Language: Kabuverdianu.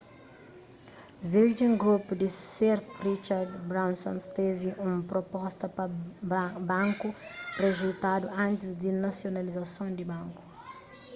virgin group di sir richard branson's tevi un proposta pa banku rijeitadu antis di nasionalizason di banku